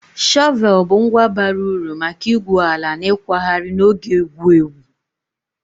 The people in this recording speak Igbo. Shọvel bụ ngwa bara uru maka igwu ala na ịkwagharị na oge egwu egwu